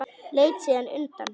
Leit síðan undan.